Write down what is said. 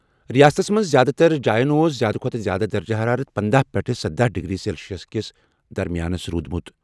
رِیاستس منٛز زیادٕ تر جایَن پٮ۪ٹھ اوس زِیٛادٕ کھۄتہٕ زِیٛادٕ درجہٕ حرارت پندہَ پٮ۪ٹھٕ سدَہ ڈگری سیلسیَس درمِیان روٗدمُت۔